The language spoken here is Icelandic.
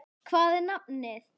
Hvað er nafnið?